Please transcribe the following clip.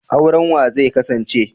Auren wa zai kasance?